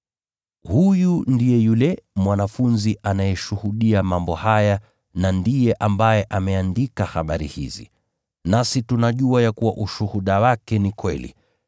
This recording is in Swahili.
Huyu ndiye yule mwanafunzi anayeshuhudia mambo haya na ndiye ambaye ameandika habari hizi. Nasi tunajua ya kuwa ushuhuda wake ni kweli.